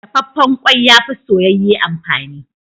Dafaffen ƙwai, ya fi soyayye amfani.